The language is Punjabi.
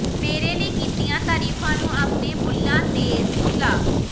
ਮੇਰੇ ਲਈ ਕੀਤੀਆਂ ਤਾਰੀਫਾਂ ਨੂੰ ਆਪਣੇ ਬੁੱਲ੍ਹਾਂ ਤੇ ਸੁਲਾ